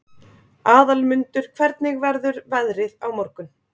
Aðalmundur, hvernig verður veðrið á morgun?